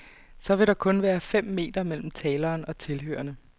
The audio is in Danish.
Så vil der kun være fem meter mellem taleren og tilhørerne.